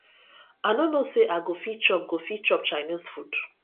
i no know say i go fit chop go fit chop chinese food